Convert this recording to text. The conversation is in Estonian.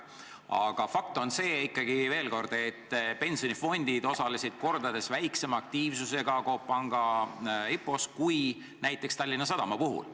Aga fakt on ikkagi see, veel kord, et pensionifondid osalesid Coop Panga IPO-s kordades vähem aktiivselt kui näiteks Tallinna Sadama puhul.